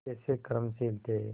कैसे कर्मशील थे